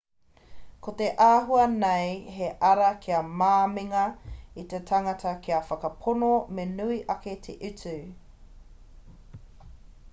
ko te āhua nei he ara kia māminga i te tangata kia whakapono me nui ake te utu